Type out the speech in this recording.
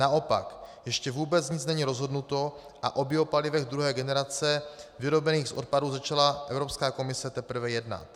Naopak, ještě vůbec nic není rozhodnuto a o biopalivech druhé generace vyrobených z odpadu, začala Evropská komise teprve jednat.